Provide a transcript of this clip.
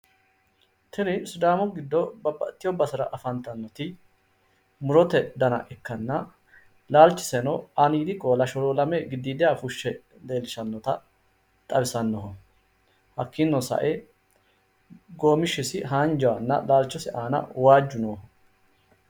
Tini sidaamu giddo babbaxxiteewo basera afantannoti murote dana ikkanna laalchiseno aaniidi qoola sholoolame giddiidiha fushshe leellishshannota xawisannoho hakkini sae goomishshisi haanjaahonna laalchisi aana waajju nooho.